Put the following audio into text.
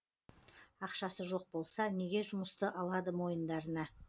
ақшасы жоқ болса неге жұмысты алады мойындарына